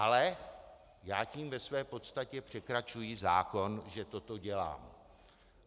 Ale já tím ve své podstatě překračuji zákon, že toto dělám.